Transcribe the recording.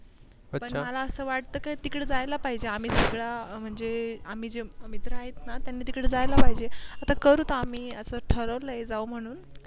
मला असं वाट तिकडे जायला पाहिजेआम्ही सगळ्या म्हणजे आम्ही जे मित्र आहेत ना त्यांनी तिकडे जायला पाहिजे आता करुत आम्ही असं ठरवलंय जाऊ म्हणून.